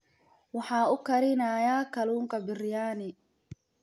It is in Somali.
Waxa uu karinayaa kalluunka biriyaani.